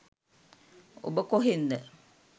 ඔබ කොහෙන්ද